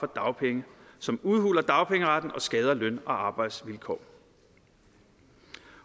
dagpenge som udhuler dagpengeretten og skader løn og arbejdsvilkår